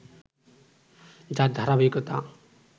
যার ধারাবাহিকতা